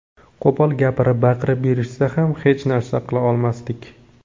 Qo‘pol gapirib, baqirib berishsa ham hech narsa qila olmasdik.